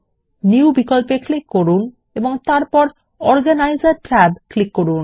new বিকল্পে click করুন এবং তারপর অর্গানিসের ট্যাবে ক্লিক করুন